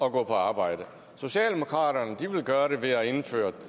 at gå på arbejde socialdemokraterne vil gøre det ved at indføre